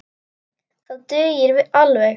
Það dugir alveg.